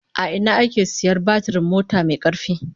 A ina ake sayar batirin mota mai karfi?